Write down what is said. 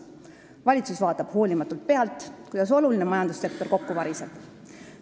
Valitsus vaatab hoolimatult pealt, kuidas oluline majandussektor kokku variseb.